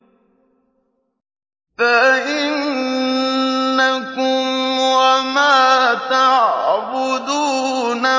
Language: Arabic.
فَإِنَّكُمْ وَمَا تَعْبُدُونَ